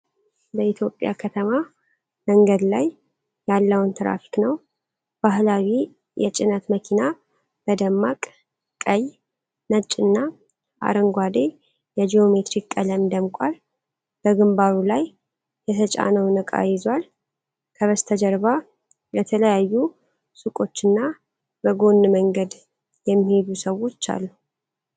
በኢትዮጵያ ከተማ መንገድ ላይ ያለውን ትራፊክ ነው። ባህላዊ የጭነት መኪና በደማቅ ቀይ፣ ነጭና አረንጓዴ የጂኦሜትሪክ ቀለም ደምቋል። በግንባሩ ላይ የተጫነውን ዕቃ ይዟል። ከበስተጀርባ የተለያዩ ሱቆችና በጎን መንገድ የሚሄዱ ሰዎች አሉ።